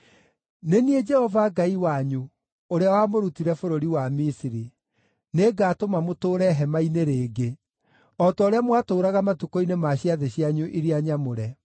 “Nĩ niĩ Jehova Ngai wanyu, ũrĩa wamũrutire bũrũri wa Misiri; nĩngatũma mũtũũre hema-inĩ rĩngĩ, o ta ũrĩa mwatũũraga matukũ-inĩ ma ciathĩ cianyu iria nyamũre.